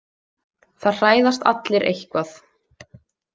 Það hræðast allir eitthvað